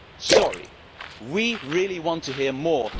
Sorry, we really want to hear more.